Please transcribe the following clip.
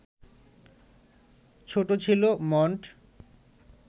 ছোট ছিল মণ্ট